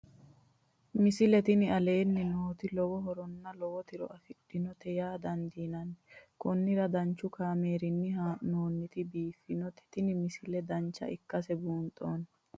misile tini aleenni nooti lowo horonna lowo tiro afidhinote yaa dandiinanni konnira danchu kaameerinni haa'noonnite biiffannote tini misile dancha ikkase buunxanni